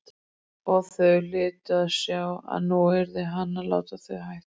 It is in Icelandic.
Og þau hlytu að sjá að nú yrði hann að láta þau hætta.